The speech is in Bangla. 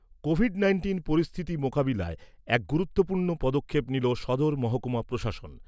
কোভিড নাইন্টিন পরিস্থিতি মোকাবিলায় এক গুরুত্বপূর্ণ পদক্ষেপ নিল সদর মহকুমা প্রশাসন।